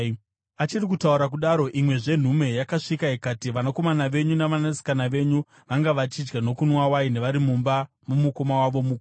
Achiri kutaura kudaro, imwezve nhume yakasvika ikati, “Vanakomana venyu navanasikana venyu vanga vachidya nokunwa waini vari mumba momukoma wavo mukuru,